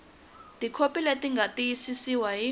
tikhopi leti nga tiyisiwa hi